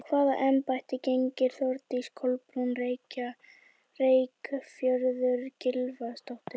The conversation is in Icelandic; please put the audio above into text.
Hvaða embætti gegnir Þórdís Kolbrún Reykfjörð Gylfadóttir?